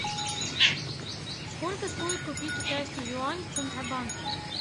сколько стоит купить китайский юань в центробанке